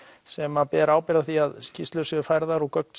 sem ber ábyrgð á því að skýrslur séu færðar og gögn